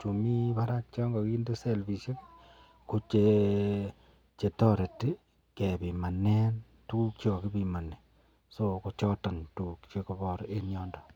Chu miten Barak chekakinde selfishek kochetareti kebimanen tuguk chekakibimani choton tuguk chekabare en yoton.